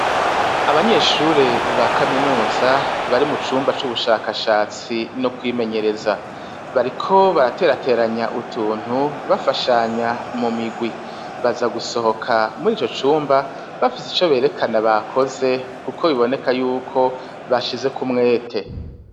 Abanyeshure ba kaminuza bari mu cumba c'ubushakashatsi no kwimenyereza bariko baraterateranya utuntu bafashanya mu migwi baza gusohoka muri ico cumba bafise ico berekana bakoze, kuko biboneka yuko bashize kumwete.